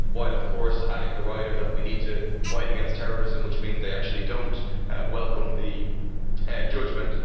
while of course adding the rider that we need to fight against terrorism, which means they actually do not welcome the judgment.